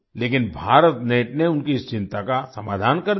लेकिन भारतनेट ने उनकी इस चिंता का समाधान कर दिया